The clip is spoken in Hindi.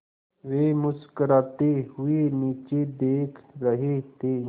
वे मुस्कराते हुए नीचे देख रहे थे